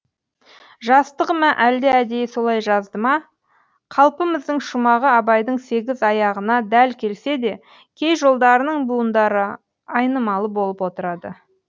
жастығы ма әлде әдейі солай жазды ма қалпымыздың шумағы абайдың сегіз аяғына дәл келсе де кей жолдарының буындары айнымалы болып отырады